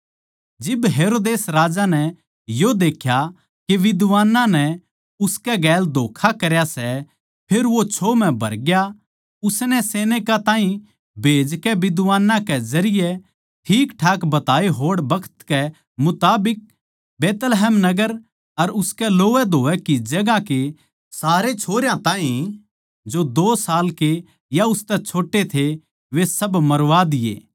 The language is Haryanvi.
जिब हेरोदेस राजा नै यो देख्या के विद्वानां नै उसकै गैल धोक्खा करया सै फेर वो छोह् म्ह भरग्या माणसां नै भेजकै विद्वानां कै जरिये ठीकठाक बताये होड़ बखत कै मुताबिक बैतलहम नगर अर उसकै लोवैधोवै की जगहांया के सारे छोरयां ताहीं जो दो साल के या उसतै छोट्टे थे वे सब मरवा दिए